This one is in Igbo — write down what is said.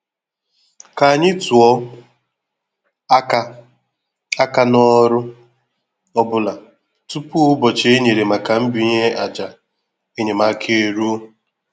Ka anyị tụọ aka aka na ọrụ ọ bụla tupu ụbọchị e nyere maka mbinye àjà enyemaka e ruo.